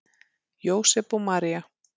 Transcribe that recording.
Jósep og María